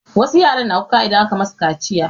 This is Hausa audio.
Wasu yara na kuka idan aka masu kaciya.